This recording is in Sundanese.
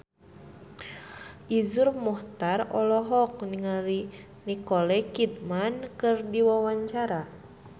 Iszur Muchtar olohok ningali Nicole Kidman keur diwawancara